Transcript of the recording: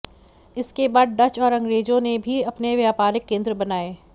इसके बाद डच और अंग्रेजों ने भी अपने व्यापारिक केंद्र बनाए